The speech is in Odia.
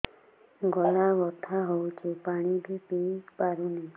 ଗଳା ବଥା ହଉଚି ପାଣି ବି ପିଇ ପାରୁନି